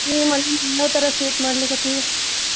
ಯಾವ್ ತರಾ sweet ಮಾಡ್ಲಿಕತಿ?